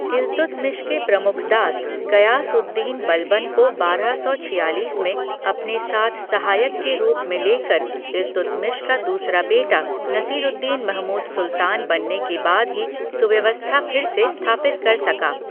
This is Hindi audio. इल्तुतमिश के प्रमुख दास, गयास उद दीन बलबन को बारह सौ छियालीस में अपने साथ सहायक के रूप में ले कर इल्तुतमिश का दूसरा बेटा नसीरुद्दीन महमूद सुल्तान बनने के बाद ही सुव्यवस्था फिर से स्थापित कर सका।